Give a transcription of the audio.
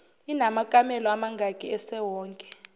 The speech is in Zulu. inamakamelo amangaki esewonke